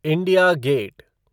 India gate